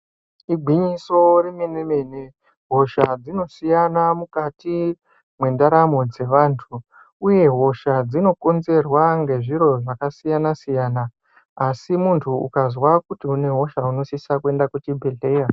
Igwinyiso remenemene hosha dzinosiyana mukati mwendaramo dzeevanhu uye hosha dzinokonzerwa ngezviro zvakasiyanasiyana asi munhu ukazwa kuti unehosha unosisa kuenda kuchibhehleya.